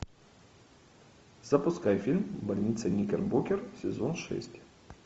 запускай фильм больница никербокер сезон шесть